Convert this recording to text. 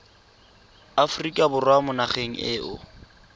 aforika borwa mo nageng eo